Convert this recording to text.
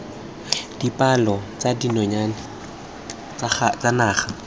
dipalo tsa dinonyane tsa naga